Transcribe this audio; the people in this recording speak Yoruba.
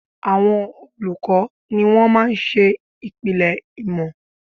Àwọn olùkọ́ ni wón máa ń ṣe ìpìlẹ̀ ìmọ̀